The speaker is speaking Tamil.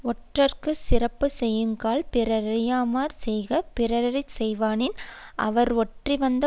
ஒற்றர்க்கு சிறப்பு செய்யுங்கால் பிறரறியாமற் செய்க பிறரறியச் செய்வனாயின் அவர் ஒற்றிவந்த